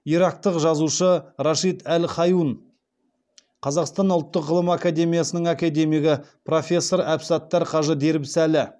ирактық жазушы рашид әл хайун қазақстан ұлттық ғылым академиясының академигі профессор әбсаттар қажы дербісәлі